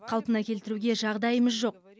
қалпына келтіруге жағдайымыз жоқ